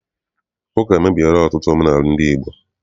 Ụka emebiela ọtụtụ omenaala ndị Igbo.